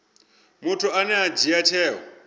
muthu ane a dzhia tsheo